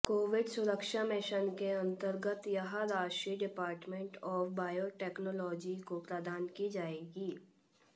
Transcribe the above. Covid सुरक्षा mission के अंतर्गत यह राशि डिपार्टमेंट ऑफ बायोटेक्नोलॉजी को प्रदान की जाएगी